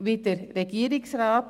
wie der Regierungsrat.